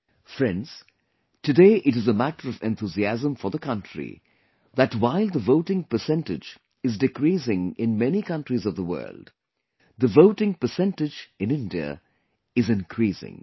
Friends, today it is a matter of enthusiasm for the country that while the voting percentage is decreasing in many countries of the world, the voting percentage in India is increasing